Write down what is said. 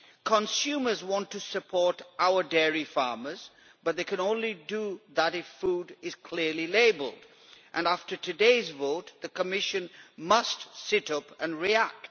Consumers want to support our dairy farmers but they can only do that if food is clearly labelled and after today's vote the Commission must sit up and react.